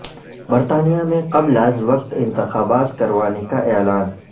برطانیہ میں قبل از وقت انتخابات کروانے کا اعلان